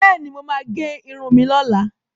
Bẹ́ẹ̀ni, mo máa gẹ irun mi lọ́la.